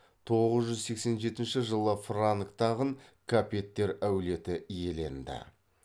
тоғыз жүз сексен жетінші жылы франк тағын капеттер әулеті иеленді